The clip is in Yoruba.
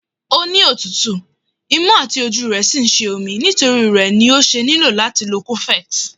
O ni otutu, imu àti ojú re sí ń sé omí, nitori ré ní o ṣe niló àti lò cofex.